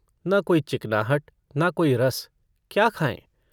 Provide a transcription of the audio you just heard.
न कोई चिकनाहट न कोई रस क्या खायें।